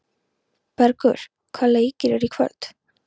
Bergur, hvaða leikir eru í kvöld?